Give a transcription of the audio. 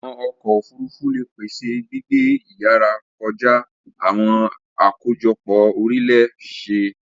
Awọn ọkọ ofurufu le pese gbigbe iyara kọja awọn akojopo-orile-see